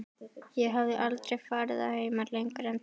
Ég hafði aldrei farið að heiman lengur en til